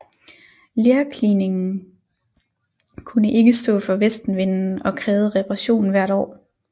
Lerkliningen kunne ikke stå for vestenvinden og krævede reparation hvert år